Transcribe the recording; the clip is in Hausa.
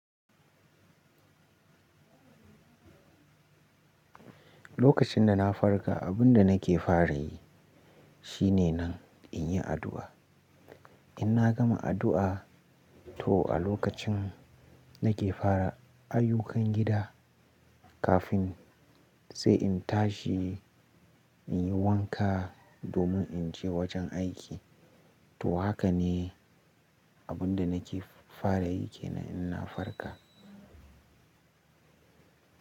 Lokacin da na farka, abun da nake fara yi shine nan in yi addu'a. In na gama addu'a, to a lokacin nake fara ayyukan gida kafin sai in tashi in yi wanka domin in je wajen aiki. To haka ne abun da nake fara yi kenan in na farka.